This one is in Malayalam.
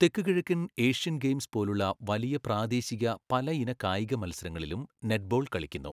തെക്കുകിഴക്കൻ ഏഷ്യൻ ഗെയിംസ് പോലുള്ള വലിയ പ്രാദേശിക പല ഇന കായിക മത്സരങ്ങളിലും നെറ്റ്ബോൾ കളിക്കുന്നു.